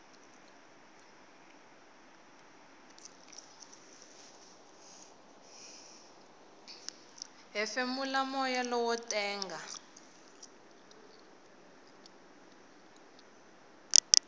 hefemula moya lowo tenga